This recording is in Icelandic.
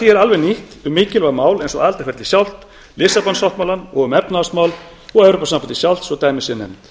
því er alveg nýtt efni um mikilvæg mál eins og aðildarferlið sjálft lissabonsáttmálann og efnahagsmál og evrópusambandið sjálft svo dæmi séu nefnd